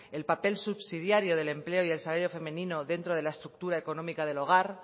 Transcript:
el papel subsidiario del empleo y el salario femenino dentro de la estructura económica del hogar